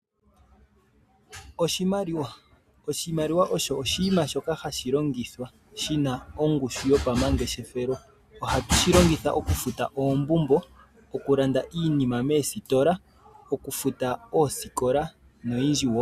Oshimaliwa. Oshimaliwa osho oshinima shoka hashi longithwa shina ongushu yopa mangeshefelo .Ohatu shi longitha okufuta oombumbo, okulanda iinima moositola, okufuta oosikola noyindji woo.